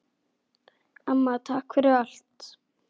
Amma, takk fyrir allt.